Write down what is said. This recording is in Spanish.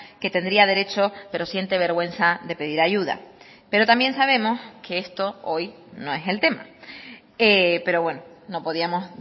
que tendría derecho pero siente vergüenza de pedir ayuda pero también sabemos que esto hoy no es el tema pero bueno no podíamos